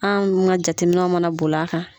An ka jateminɛw mana boli a kan.